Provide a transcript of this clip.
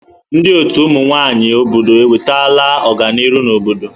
Ndị ọtù ụmụ nwaanyị obodo ewetela ọganiru n'obodo.